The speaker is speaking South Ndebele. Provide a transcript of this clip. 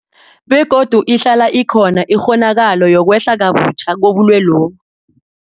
Begodu ihlala ikhona ikghonakalo yokwehla kabutjha kobulwelobu.